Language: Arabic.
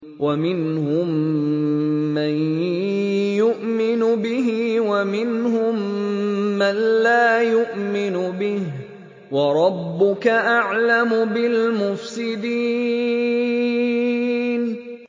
وَمِنْهُم مَّن يُؤْمِنُ بِهِ وَمِنْهُم مَّن لَّا يُؤْمِنُ بِهِ ۚ وَرَبُّكَ أَعْلَمُ بِالْمُفْسِدِينَ